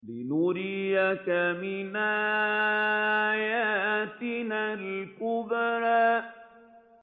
لِنُرِيَكَ مِنْ آيَاتِنَا الْكُبْرَى